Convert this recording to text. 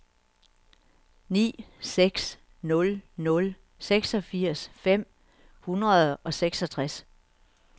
ni seks nul nul seksogfirs fem hundrede og seksogtres